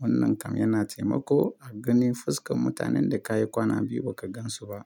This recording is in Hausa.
Wannan kam yana taimako a ganin fuskan mutanen da kayi kwana biyu baka gansu ba.